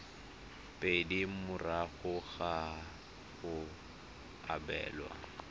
pedi morago ga go abelwa